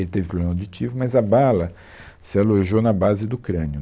Ele teve problema auditivo, mas a bala se alojou na base do crânio.